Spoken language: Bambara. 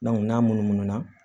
n'a munumunu na